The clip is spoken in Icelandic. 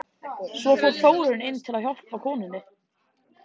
Svo fór Þórunn inn til að hjálpa konunni.